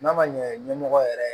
N'a ma ɲɛmɔgɔ yɛrɛ